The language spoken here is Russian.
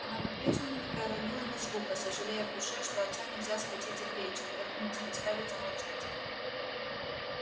она по-прежнему не проронила ни звука сожалея в душе что отца нельзя схватить за плечи тряхнуть заставить замолчать